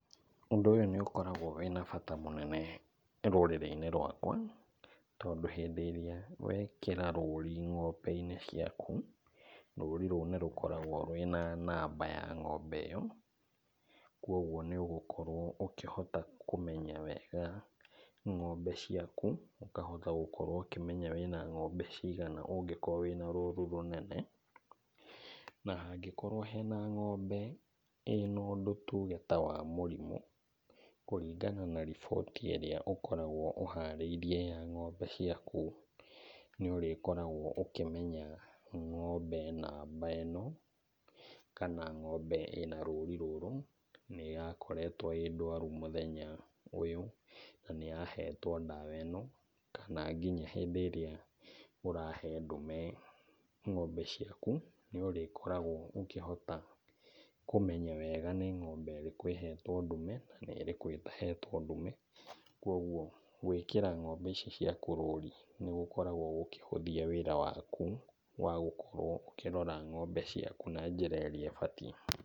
Ũndũ ũyũ nĩ ũkorgawo wĩna bata mũnene rũrĩrĩ-inĩ rwakwa, tondũ hĩndĩ ĩrĩa wekĩra rũri ng'ombe-inĩ ciaku, rũri rũu nĩrũkoragwo rwĩna namba ya ng'ombe ĩyo, kuoguo nĩũgũkorwo ũkĩhota kũmenya wega ng'ombe ciaku, ũkahota gũkorwo ũkĩmenya wĩna ng'ombe cigana ũngĩkorwo wĩna rũru rũnene. Na hangĩkorwo hena ng'ombe ĩna ũndũ tuge ta wa mũrimũ, kũringana na riboti ĩrĩa ũkoragwo ũharĩirie ya ng'ombe ciaku, nĩũrĩkoragwo ũkĩmenya ng'ombe namba ĩno kana ng'ombe ĩna rũri rũrũ, nĩyakoretwo ĩ ndwaru mũthenya ũyũ, na nĩyahetwo ndawa ĩno, kana nginya hĩndĩ ĩrĩa ũrahe ndume ng'ombe ciaku, nĩũrĩkoragwo ũkĩhota kũmenya wega nĩ ng'ombe ĩrĩkũ ĩhetwo ndume na nĩ ĩrĩkũ ĩtahetwo ndume. Kuoguo gwĩkĩra ng'ombe ici ciaku rũri nĩgũkoragwo gũkĩhũthia wĩra waku wa gũkorwo ũkĩrora ng'ombe ciaku na njĩra ĩrĩa ĩbatiĩ.